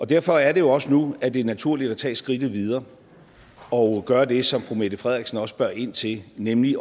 derfor er det jo også nu at det er naturligt at tage skridtet videre og gøre det som fru mette frederiksen også spørger ind til nemlig